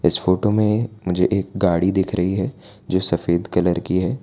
इस फोटो मे मुझे एक गाड़ी दिख रही है जो सफेद कलर की है।